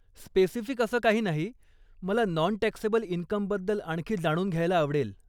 Specific असं काही नाही, मला नॉन टॅक्सेबल इनकमबद्दल आणखी जाणून घ्यायला आवडेल.